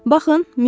Baxın, müsyö.